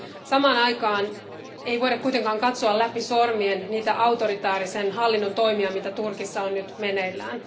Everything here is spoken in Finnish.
Samaan aikaan ei voida kuitenkaan katsoa läpi sormien niitä autoritäärisen hallinnon toimia, joita Turkissa on nyt meneillään.